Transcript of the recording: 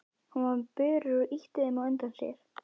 Hann var með börur og ýtti þeim á undan sér.